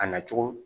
A nacogo